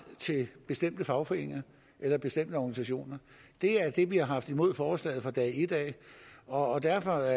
til bestemte fagforeninger eller bestemte organisationer det er det vi har haft imod forslaget fra dag et og derfor er